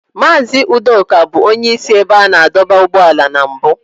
Mazị Udoka bụ onye isi ebe a na-adọba ụgbọala na mbụ.